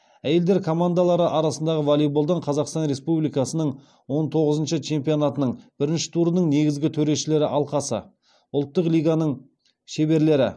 әйелдер командалары арасындағы волейболдан қазақстан республикасының он тоғызыншы чемпионатының бірінші турының негізгі төрешілер алқасы ұлттық лиганың шеберлері